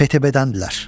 PTP-dəndirlər.